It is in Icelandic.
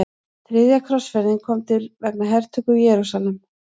Þriðja krossferðin kom til vegna hertöku Jerúsalem.